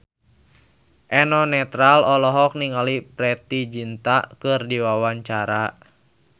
Eno Netral olohok ningali Preity Zinta keur diwawancara